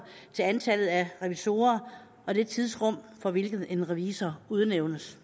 til antallet af revisorer og det tidsrum for hvilket en revisor udnævnes